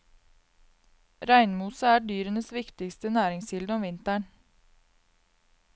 Reinmose er dyrenes viktigste næringskilde om vinteren.